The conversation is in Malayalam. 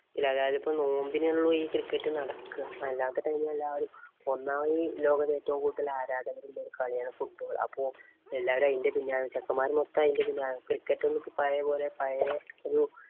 അപ്പൊ ഈ നോമ്പിനെ ഉള്ളൂ ഈ cricket നടക്കുക. അല്ലാത്തെ time ഇല് എല്ലാവരും ഒന്നാമത് ഈ ലോകത്ത് ഏറ്റവും കൂടുതല്‍ ആരാധകര്‍ ഉള്ള ഒരു കളിയാണ് football. അപ്പൊ എല്ലാവരും അതിന്‍റെ പിന്നാലെ ചെക്കന്മാര് മൊത്തം അതിന്‍റെ പിന്നാലെയാണ്. Cticket ന്ക്ക് പഴയ പോലെ പഴയ ഒരു